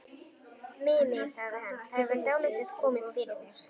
Mimi, sagði hann, það hefur dálítið komið fyrir mig